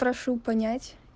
прошу понять